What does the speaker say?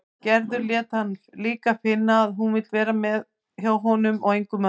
Gerður lét hann líka finna að hún vildi vera hjá honum og engum öðrum.